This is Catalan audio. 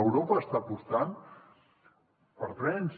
europa està apostant per trens